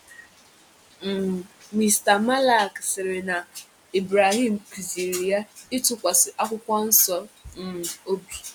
um Mista Malek sịrị na Ibrahim kụziri ya ịtụkwasị Akwụkwọ Nsọ um obi.